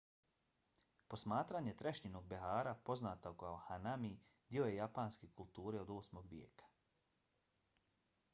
posmatranje trešnjinog behara poznato kao hanami dio je japanske kulture od 8. vijeka